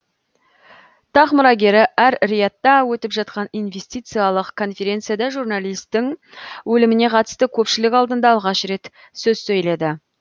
тақ мұрагері әр риядта өтіп жатқан инвестициялық конференцияда журналистің өліміне қатысты көпшілік алдында алғаш рет сөз сөйледі